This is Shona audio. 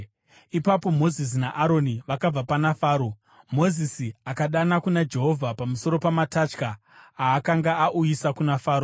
Ipapo Mozisi naAroni vakabva pana Faro, Mozisi akadana kuna Jehovha pamusoro pamatatya aakanga auyisa kuna Faro.